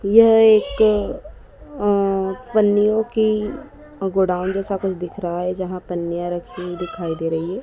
यह एक अ पन्नीयों की गोदान जैसा कुछ दिख रहा है जहां पन्नीया रखी दिखाई दे रही है।